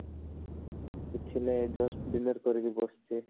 କିଛି ନାଇଁ just dinner କରିକି ବସିଛି